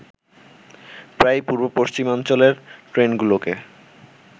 প্রায়ই পূর্ব-পশ্চিমাঞ্চলের ট্রেনগুলোকে